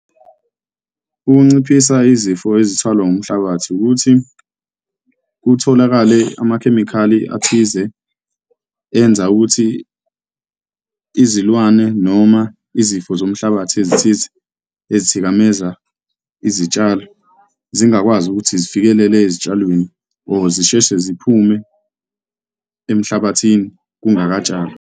Ukunciphisa izifo ezithwala ngumhlabathi ukuthi kutholakale amakhemikhali athize enza ukuthi izilwane noma izifo zomhlabathi ezithize ezithikameza izitshalo zingakwazi ukuthi zifikelele ezitshalweni or zisheshe ziphume emhlabathini kungakatshalwa.